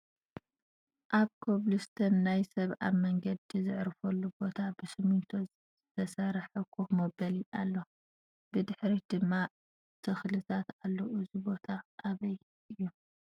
ኣብ ኮብልስቶን ናይ ሰብ ኣብ መንገዲ ዘዕርፈሉ ቦታ ብስሚንቶ ዝተሰርሐ ኮፍ መበሊ ኣሎ ። ብድሕሪት ድማ ተክልታት ኣሎ ። እዚ ቦታ ኣበይ እዩ ?